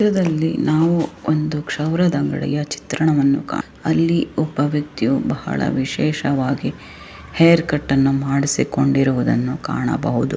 ಚಿತ್ರದಲ್ಲಿ ನಾವು ಒಂದು ಕ್ಷೌರದ ಅಂಗಡಿಯ ಚಿತ್ರಣವನ್ನು ಕಾಣ. ಅಲ್ಲಿ ಒಬ್ಬ ವ್ಯಕ್ತಿಯು ಬಹಳ ವಿಶೇಷವಾಗಿ ಹೇರ್ ಕಟ್ ಅನ್ನ ಮಾಡಿಸಿಕೊಂಡಿರುವುದನ್ನ ಕಾಣಬಹುದು.